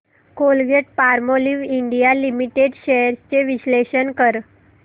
Colgate Palmolive India Limited shares चे विश्लेषण कर